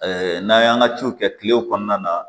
n'an y'an ka ciw kɛ kilew kɔnɔna na